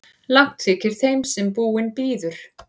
Langt þykir þeim sem búinn bíður.